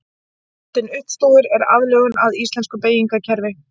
Myndin uppstúfur er aðlögun að íslensku beygingarkerfi.